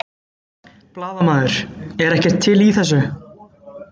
Blaðamaður: Er ekkert til í þessu?